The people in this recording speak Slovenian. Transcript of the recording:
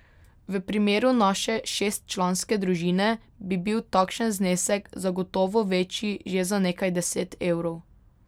V primeru naše šestčlanske družine bi bil takšen znesek zagotovo večji že za nekaj deset evrov.